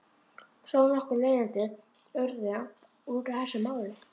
Þó nokkur leiðindi urðu út af þessu máli.